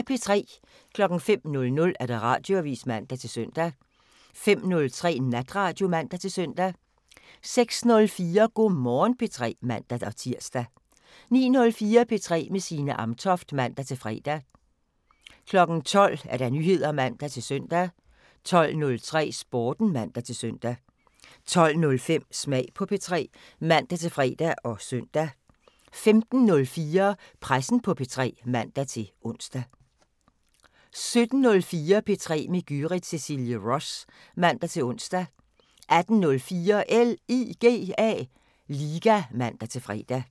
05:00: Radioavisen (man-søn) 05:03: Natradio (man-søn) 06:04: Go' Morgen P3 (man-tir) 09:04: P3 med Signe Amtoft (man-fre) 12:00: Nyheder (man-søn) 12:03: Sporten (man-søn) 12:05: Smag på P3 (man-fre og søn) 15:04: Pressen på P3 (man-ons) 17:04: P3 med Gyrith Cecilie Ross (man-ons) 18:04: LIGA (man-fre)